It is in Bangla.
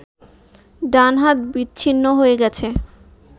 ডান হাত বিচ্ছ্ন্নি হয়ে গেছে